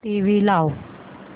TV लाव